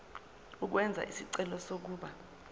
ukwenza isicelo sokuba